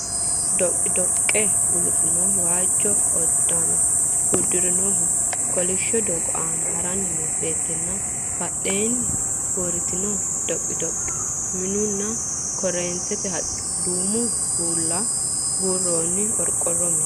Dhoqidhoqqe gulufino waajjo uddano uddirinohu kolishsho doogo aana haranni noo beettinna badheenni uurritino dhoqidhoqqe minunna korreentete haqqi duumo kuula buurroonni qorqorro mini.